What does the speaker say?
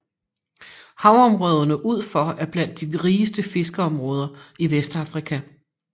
Havområderne ud for er blandt de rigeste fiskeområder i Vestafrika